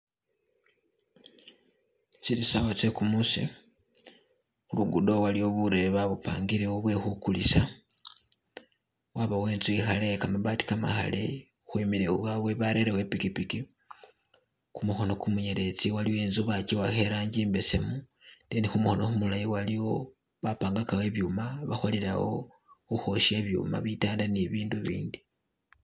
Zili sawa zegumusi khulugudo waliwo burebe babupangilewo bwekhugulisa wabawo inzu ikhale ye gamabaati gamakhale barelewo ipikipiki khumukono gumunyelezi waliwo inzu bajiwakha irangi imbesemu then khumukhono gumulayi waliwo bapangagawo ibyuma bakholelawo ukhosha ibyuma bitanda ni bindu bindi.